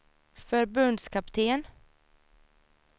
förbundskapten